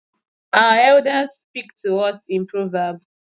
Our Elders speak to us in proverb.